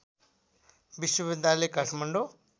विश्वविद्यालय काठमाडौँ